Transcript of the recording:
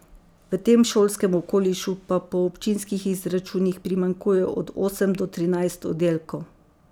V tem šolskem okolišu pa po občinskih izračunih primanjkuje od osem do trinajst oddelkov.